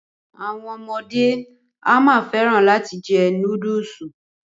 Àwọn ọmọde a máa fẹ́ràn láti jẹ núdùsù.